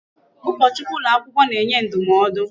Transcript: Ụkọchukwu ụlọ akwụkwọ na-enye ndụmọdụ.